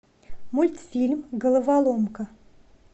мультфильм головоломка